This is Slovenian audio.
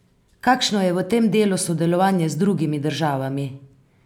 Kakšno je v tem delu sodelovanje z drugimi državami?